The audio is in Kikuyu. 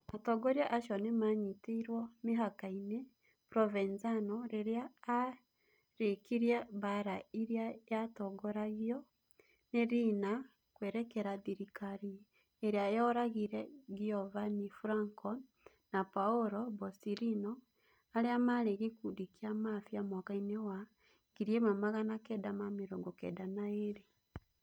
Atongoria acio nĩ maanyitirũo mĩhaka nĩ Provenzano rĩrĩa aarĩkirie mbaara ĩrĩa yatongoragio nĩ Riina kwerekera thirikari ĩrĩa yooragire Giovanni Falcone na Paolo Borsellino arĩa maarĩ gĩkundi kĩa Mafia mwaka-inĩ wa 1992".